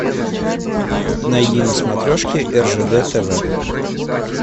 найди на смотрешке ржд тв